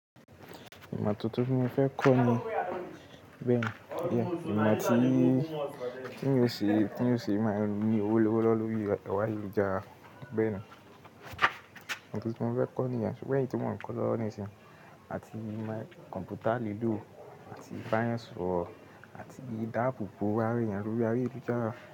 Ìmọ tuntun tí mo fẹ́ kọ ni bẹ́ẹ̀ni, ìmọ tí, tí èèyàn ó ṣe máa ní owó lọ́wọ́lọ́wọ́ lórí ẹ̀rọ ayélujára bẹ́ẹ̀ni. Ìmo tuntun tí mo fẹ́ kọ ní yen sugbon eyi ti mọn kọ́ lọ́wọ́ nísìnyí àti kọ̀ǹpútà lilò àti ba eniyan soro àti idabòbò awa eyàn lórí ayélujára.